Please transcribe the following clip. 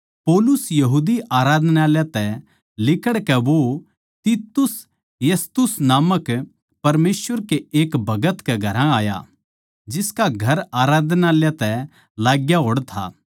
पौलुस यहूदी आराधनालय तै लिकड़कै वो तितुस यूस्तुस नामक परमेसवर के एक भगत कै घरां आया जिसका घर आराधनालय तै लाग्या होड़ था